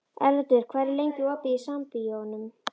Erlendur, hvað er lengi opið í Sambíóunum?